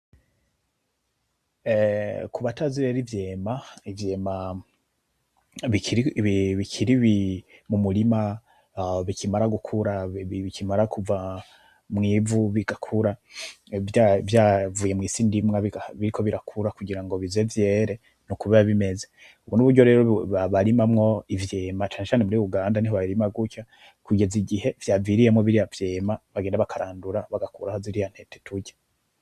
Kubatazi rero ivyema, ivyema bikiri mu murima bikimara gukura, bikimara kuva mw'ivu bigakura, vyavuye mw'isi ndimwa biriko birakura, kugira ngo bize vyere ni uko biba bimeze, ubu ni uburyo rero barimamwo ivyema canecane muri uganda niho babirima gutya kugeza igihe vyaviriyemwo biriya vyema bagenda bakarandura bagakuraho ziriya ntete turya.